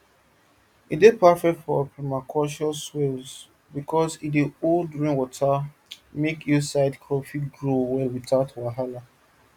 e dey perfect for permaculture swales because e dey hold rainwater make hillside crops fit grow well without wahala